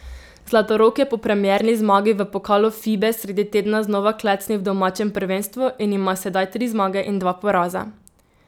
Zlatorog je po premierni zmagi v pokalu Fibe sredi tedna znova klecnil v domačem prvenstvu in ima sedaj tri zmage in dva poraza.